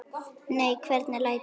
Nei, hvernig læt ég?